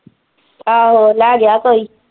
ਆਹੋ ਲੈ ਗਇਆ ਕੋਈ।